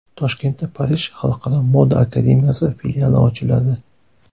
Toshkentda Parij xalqaro moda akademiyasi filiali ochiladi.